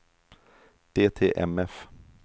DTMF